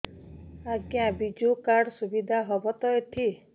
ଆଜ୍ଞା ବିଜୁ କାର୍ଡ ସୁବିଧା ହବ ତ ଏଠି